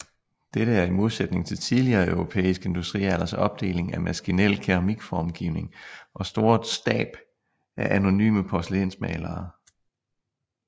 Dette er i modsætning til tidligere europæisk industrialders opdeling af maskinel keramikformgivning og store stab af anonyme porcelænsmalere